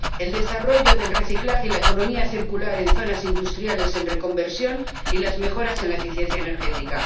el desarrollo del reciclado y la economía circular en zonas industriales en reconversión, y las mejoras en la eficiencia energética.